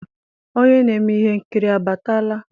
onye na-eme ihe nkiri abatala?